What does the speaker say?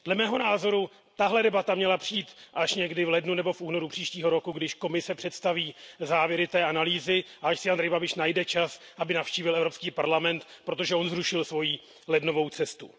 Dle mého názoru tato debata měla přijít až někdy v lednu nebo v únoru příštího roku, když Komise představí závěry té analýzy a až si Andrej Babiš najde čas, aby navštívil Evropský parlament, protože on zrušil svoji lednovou cestu.